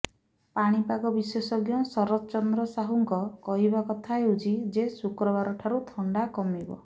ପାଣିପାଗ ବିଶେଷଜ୍ଞ ଶରତ ଚନ୍ଦ୍ର ସାହୁଙ୍କ କହିବା କଥା ହେଉଛି ଯେ ଶୁକ୍ରବାରଠାରୁ ଥଣ୍ଡା କମିବ